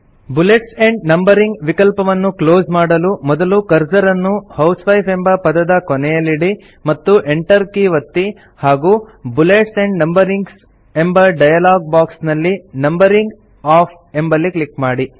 bullets and numbering ವಿಕಲ್ಪವನ್ನು close ಮಾಡಲು ಮೊದಲು ಕರ್ಸರ್ ಅನ್ನು ಹೌಸ್ವೈಫ್ ಎಂಬ ಪದದ ಕೊನೆಯಲ್ಲಿಡಿ ಮತ್ತು enter ಕೀ ಒತ್ತಿ ಹಾಗೂ ಬುಲೆಟ್ಸ್ ಆಂಡ್ ನಂಬರಿಂಗ್ ಎಂಬ ಡಯಲಾಗ್ ಬಾಕ್ಸ್ ನಲ್ಲಿ ನಂಬರಿಂಗ್ ಒಎಫ್ಎಫ್ ಎಂಬಲ್ಲಿ ಕ್ಲಿಕ್ ಮಾಡಿ